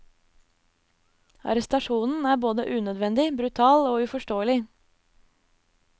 Arrestasjonen er både unødvendig, brutal og uforståelig.